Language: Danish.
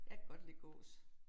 Jeg kan godt lide gås